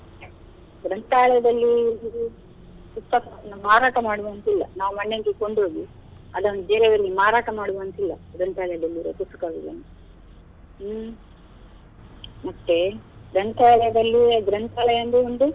ಗ್ರಂಥಾಲಯದಲ್ಲಿ ಸಿಗುವ ಪುಸ್ತಕವನ್ನ ಮಾರಾಟ ಮಾಡುವಂತಿಲ್ಲ ನಾವು ಮನೆಗೆ ಕೊಂಡು ಹೋಗಿ, ಅದನ್ನು ಬೇರೆ ಅವ್ರಿಗೆ ಮಾರಾಟ ಮಾಡುವಂತಿಲ್ಲ ಗ್ರಂಥಾಲಯದಲ್ಲಿರುವ ಪುಸ್ತಕಗಳನ್ನು ಹ್ಮ್‌ ಮತ್ತೆ ಗ್ರಂಥಾಲಯದಲ್ಲಿ ಗ್ರಂಥಾಲಯ ಒಂದು.